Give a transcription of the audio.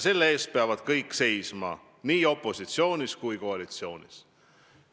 Selle eest peavad kõik seisma nii opositsioonis kui ka koalitsioonis.